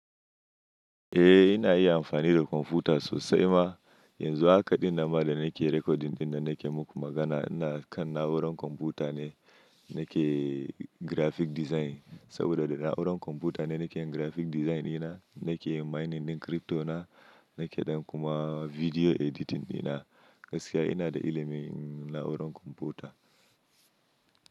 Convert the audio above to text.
Eh ina iya amfani da kwamfuta sosai ma. Yanzu hakaɗin nama da nake recording ɗin da nake muku magana ina kan na'urar kwamfuta ne nake graphic design. Saboda da na'urar kwamfuta ne nake yin graphic design ina, nake yin mining ɗin crypto na, nake dan kuma video editing ina. Gaskiya ina da ilimin na'urar kwamfuta.